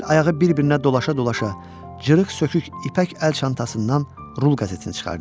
Əl-ayağı bir-birinə dolaşa-dolaşa cırıq-sökük ipək əl çantasından rul qəzetini çıxardı.